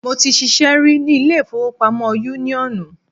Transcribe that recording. Mo ti ṣiṣẹ́ rí ní ilé ìfowópamọ́ yúníọ̀nù